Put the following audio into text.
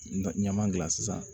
Na ɲaman dilan sisan